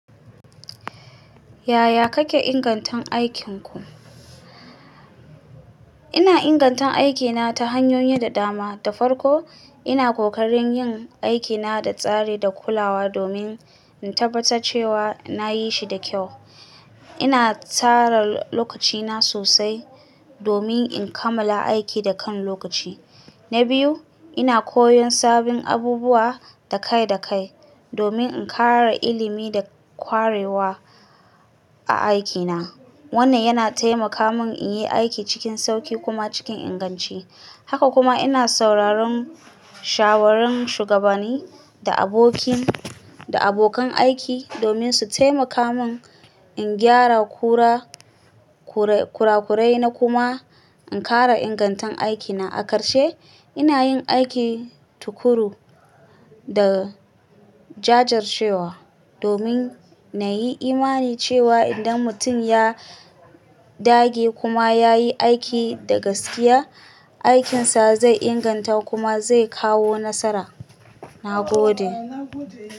Yaya kake ingantun aikinku? Ina ingantan aikina ta hanyoyi da dama. Da farko, ina ƙoƙarin yin aikina da tsari da kulawa domin in tabbata cewa na yi shi da kyau. Ina tsara lokacina sosai domin in kammala aiki da kan lokaci. Na biyu, ina koyon sabbin abubuwa da kai da kai domin in ƙara ilimi da ƙwarewa a aikina. Wannan yana taimaka min in yi aiki cikin sauƙi kuma cikin inganci. Haka kuma ina sauraron shawarin shugabani da abokin da abokan aiki domin su taimaka mun in gyara kura, kura-kurai na kuma in ƙara ingantun aikina. A ƙarshe, ina yin aiki tuƙuru da jajircewa domin na yi imani cewa idan mutum ya dage kuma ya yi aiki da gaskiya, aikinsa zai inganta kuma zai kawo nasara. Na gode.